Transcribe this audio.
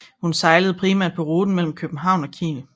Hun sejlede primært på ruten mellem København og Kiel